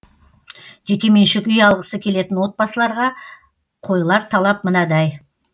жекеменшік үй алғысы келетін отбасыларға қойылар талап мынадай